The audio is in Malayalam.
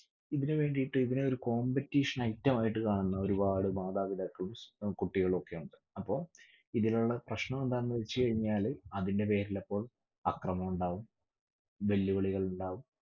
ഇതിനുവേണ്ടീട്ട് ഇതിനെ ഒരു competition item മായിട്ട് കാണുന്ന ഒരുപാട് മാതാപിതാക്കളും ഉം കുട്ടികളും ഒക്കെ ഉണ്ട്. അപ്പൊ ഇതിനുള്ള പ്രശ്നമെന്താണെന്ന് വെച്ചുകഴിഞ്ഞാല് അതിന്റെ പേരിലപ്പോൾ അക്രമം ഉണ്ടാവും വെല്ലുവിളികൾ ഉണ്ടാവും